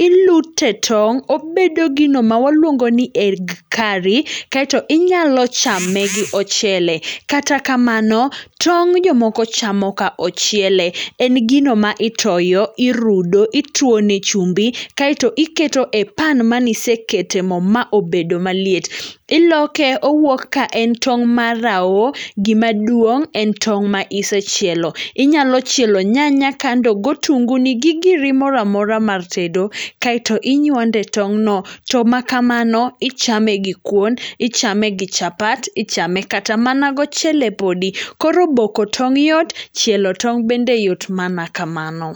ilute tong' obedo gino mawaluongoni egg curry, kaeto inyalo chame gi ochele. Kata kamano, tong' jomoko chamo ka ochiele. En gino ma itoyo irudo, ituone chumbi, kaeto iketo e pan maniseketo e mo maobedo maliet. Iloke owuok ka en tong' marao gima duong' en tong' ma isechielo. Inyalo chielo nyanya kando go otunguni gi giri moramora mar tedo, kaeto inywande e tong'no. To ma kamano ichame gi kuon, ichame gi chapat, ichame kata mana gochele podi. Koro boko tong' yot, chielo tong' bende yot mana kamano.